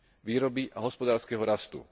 výroby a hospodárskeho rastu.